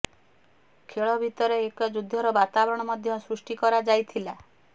ଖେଳ ଭିତରେ ଏକ ଯୁଦ୍ଧର ବାତାବରଣ ମଧ୍ୟ ସୃଷ୍ଟି କରାଯାଇଥିଲା